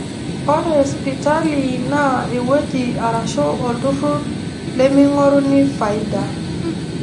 Ore spitali naa ewueji arashu oltururr lemeing'oruni faida